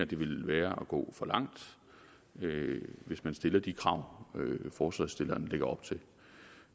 det ville være at gå for langt hvis man stiller de krav forslagsstilleren lægger op til